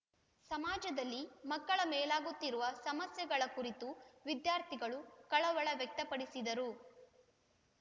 ಸಮಾಜದಲ್ಲಿ ಮಕ್ಕಳ ಮೇಲಾಗುತ್ತಿರುವ ಸಮಸ್ಯೆಗಳ ಕುರಿತು ವಿದ್ಯಾರ್ಥಿಗಳು ಕಳವಳ ವ್ಯಕ್ತಪಡಿಸಿದರು